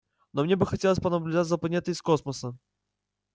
но мне бы хотелось понаблюдать за планетой из космоса